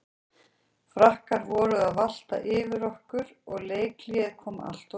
Frakkar voru að valta yfir okkur og leikhléið kom alltof seint.